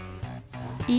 í